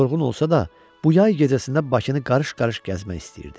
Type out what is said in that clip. Yorğun olsa da, bu yay gecəsində Bakını qarış-qarış gəzmək istəyirdi.